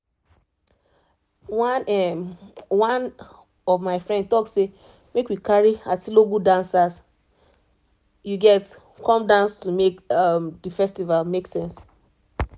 one um one my friend talk say make we carry atilogwu dancers um come dance to make the festival make sense